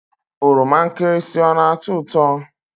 Oroma nkirisi ọ na-ató ụtọ?